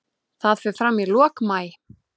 Það fer fram í lok maí.